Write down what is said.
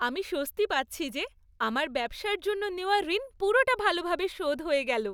আমি স্বস্তি পাচ্ছি যে আমার ব্যবসার জন্য নেওয়া ঋণ পুরোটা ভালোভাবে শোধ হয়ে গেল।